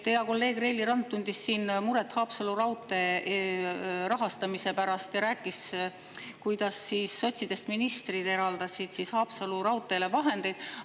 Hea kolleeg Reili Rand tundis muret Haapsalu raudtee rahastamise pärast ja rääkis, kuidas sotsidest ministrid eraldasid Haapsalu raudteele vahendeid.